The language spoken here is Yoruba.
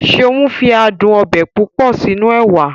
Seun fi adùn ọbẹ̀ púpọ̀ sínú ẹwà